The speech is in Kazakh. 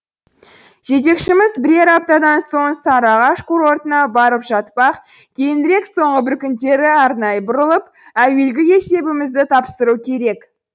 жетекшіміз бірер аптадан соң сары ағаш курортына барып жатпақ кейінірек соңғы бір күндері арнайы бұрылып әуелгі есебімізді тапсыру керек